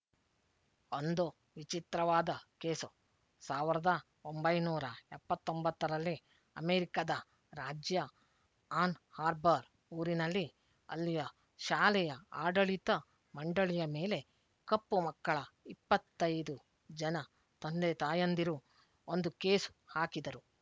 ಒಂದು ವಿಚಿತ್ರವಾದ ಕೇಸು ಸಾವಿರದ ಒಂಬೈನೂರ ಎಪ್ಪತ್ತ್ ಒಂಬತ್ತರಲ್ಲಿ ಅಮೆರಿಕಾದ ರಾಜ್ಯ ಆನ್ ಹಾರ್ಬರ್ ಊರಿನಲ್ಲಿ ಅಲ್ಲಿಯ ಶಾಲೆಯ ಆಡಳಿತ ಮಂಡಳಿಯ ಮೇಲೆ ಕಪ್ಪು ಮಕ್ಕಳ ಇಪ್ಪತ್ತ್ ಐದು ಜನ ತಂದೆತಾಯಂದಿರು ಒಂದು ಕೇಸು ಹಾಕಿದರು